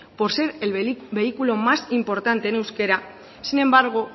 por ser el vehículo más importante en euskera sin embargo